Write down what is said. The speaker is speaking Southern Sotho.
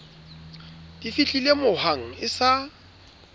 di fihlile mohwang e sa